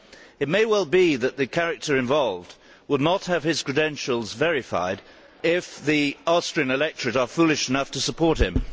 It may well be that the character involved would not have his credentials verified if the Austrian electorate are foolish enough to support him.